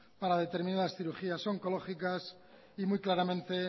para determinadas cirugías oncológicas y muy claramente